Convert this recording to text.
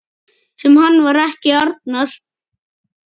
Sem hann var ekki, Arnar.